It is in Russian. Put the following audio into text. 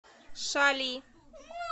шали